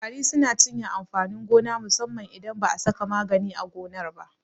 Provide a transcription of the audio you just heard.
Ƙwari suna cinye amfanin gona musamman idan ba a saka magani a gonar ba.